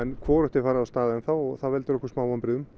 hvorugt er farið af stað ennþá og það veldur okkur smá vonbrigðum